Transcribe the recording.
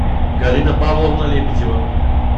галина павловна лебедева